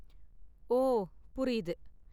ஓ, புரியுது.